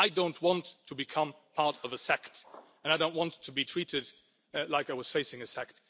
I don't want to become part of a sect and I don't want to be treated like I was facing a sect.